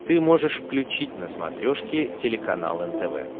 ты можешь включить на смотрешке телеканал нтв